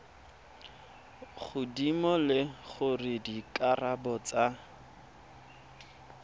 godimo le gore dikarabo tsa